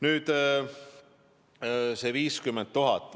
Nüüd see 50 000.